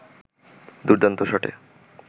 দুর্দান্ত শটে